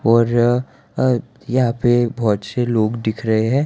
और अब यहाँ पे बहोत से लोग दिख रहें हैं।